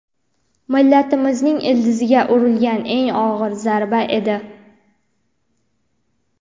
millatimizning ildiziga urilgan eng og‘ir zarba edi.